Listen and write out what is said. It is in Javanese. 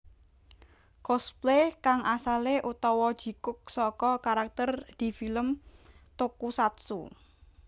Cosplay kang asalé utawa jikuk saka karakter di film tokusatsu